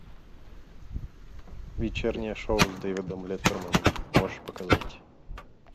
вечернее шоу с дэвидом леттерманом можешь показать